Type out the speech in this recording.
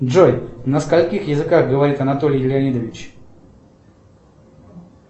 джой на скольких языках говорит анатолий леонидович